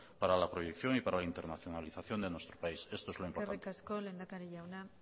para la proyección y para internacionalización de nuestro país esto es lo importante eskerrik asko lehendakari jauna